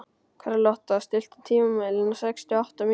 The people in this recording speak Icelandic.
Karlotta, stilltu tímamælinn á sextíu og átta mínútur.